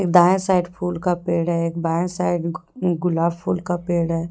दाएं साइड फूल का पेड़ है एक बाएं साइड गुलाब फूल का पेड़ है।